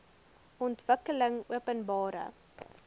ontwikkelingopenbare